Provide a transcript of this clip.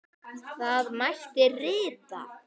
Þá mætti rita